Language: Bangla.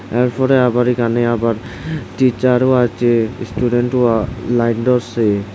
এরপরে আবার এখানে আবার টিচারও আছে স্টুডেন্টও লাইন ধরসে।